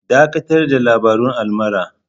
Dakatar da labarun almara!